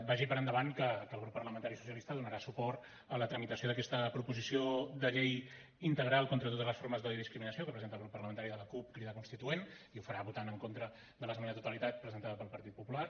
vagi per endavant que el grup parlamentari socialista donarà suport a la tramitació d’aquesta proposició de llei integral contra totes les formes d’odi i discriminació que ha presentat el grup parlamentari de la cup crida constituent i ho farà votant en contra de l’esmena a la totalitat presentada pel partit popular